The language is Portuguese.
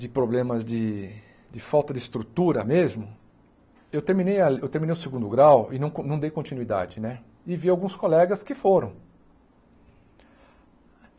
de problemas de de falta de estrutura mesmo, eu terminei a eu terminei o segundo grau e não não dei continuidade né, e vi alguns colegas que foram.